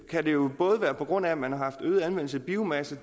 kan det jo både være på grund af at man har haft øget anvendelse af biomasse